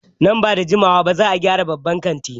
Nan ba da jimawa ba za a gyara babban kantin.